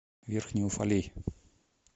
верхний уфалей